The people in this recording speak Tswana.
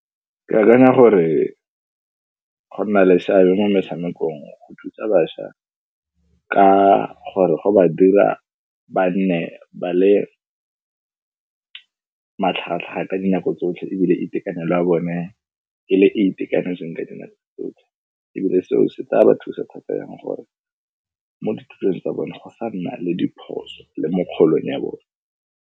Ke akanya gore go na le seabe mo metshamekong go thusa bašwa ka gore go ba dira ba nne ba le matlhagatlhaga ka dinako tsotlhe, ebile itekanelo ya bone e le itekanetseng ka dinako tsotlhe ebile seo se tla ba thusa thata yang gore mo dithutong tsa bone go sa nna le diphoso le mo kgolong ya bone.